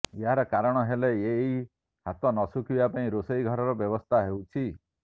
ଏହାର କାରଣ ହେଲେ ଏହି ହାତ ନ ଶୁଖିବା ପାଇଁ ରୋଷଘରର ବ୍ୟବସ୍ଥା ହେଉଛି